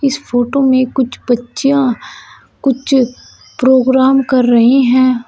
इस फोटो में कुछ बच्चियों कुछ प्रोग्राम कर रहे हैं।